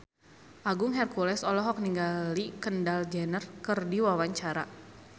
Agung Hercules olohok ningali Kendall Jenner keur diwawancara